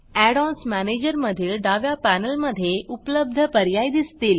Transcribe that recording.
add ONS manager मधील डाव्या पॅनेलमधे उपलब्ध पर्याय दिसतील